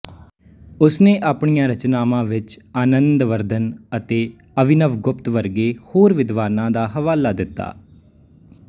ਉਸਨੇ ਆਪਣੀਆਂ ਰਚਨਾਵਾਂ ਵਿੱਚ ਆਨੰਦਵਰਧਨ ਅਤੇ ਅਭਿਨਵਗੁਪਤ ਵਰਗੇ ਹੋਰ ਵਿਦਵਾਨਾਂ ਦਾ ਹਵਾਲਾ ਦਿੱਤਾ